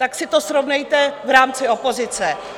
Tak si to srovnejte v rámci opozice.